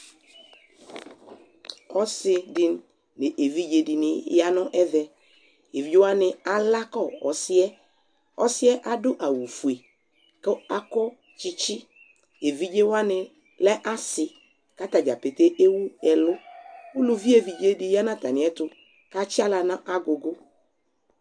Ɔse de no evidze de ne ya no ɛvɛEvidze wane alakɔ ɔsiɛ Ɔsiɛ ado awufue kakɔ tsitsi Evidze wane lɛ ase ka ata dzapete ewu ɛluUluvi evidze de ya no atame ɛto katsi ala na agugu